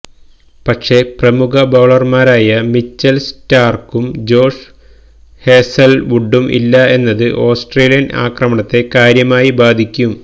പക്ഷേ പ്രമുഖ ബൌളർമാരായ മിച്ചല് സ്റ്റാര്ക്കും ജോഷ് ഹേസൽവുഡും ഇല്ല എന്നത് ഓസ്ട്രേലിയന് ആക്രമണത്തെ കാര്യമായി ബാധിക്കും